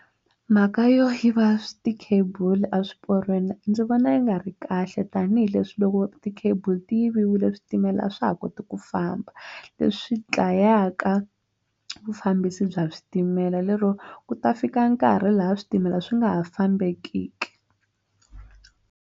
Mhaka yo yiva swi ti-cable a swiporweni ndzi vona yi nga ri kahle tanihileswi loko ti-cable ti yiviwile switimela a swa ha koti ku famba leswi dlayaka vufambisi bya switimela lero ku ta fika nkarhi laha switimela swi nga ha fambekiki.